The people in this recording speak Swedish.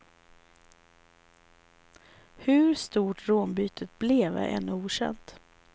Hur stort rånbytet blev är ännu okänt.